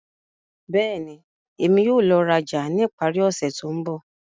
Bẹ́ẹ̀ni, Emi yóò lọ raja ni ipari ose to nbọ.